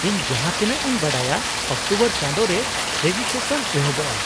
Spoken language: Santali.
ᱼᱤᱧ ᱡᱟᱦᱟᱸᱛᱤᱱᱟᱹᱜ ᱤᱧ ᱵᱟᱰᱟᱭᱟ ᱚᱠᱴᱳᱵᱚᱨ ᱪᱟᱸᱫᱳ ᱨᱮ ᱨᱮᱡᱤᱥᱴᱮᱥᱚᱱ ᱮᱦᱚᱵᱚᱜᱼᱟ ᱾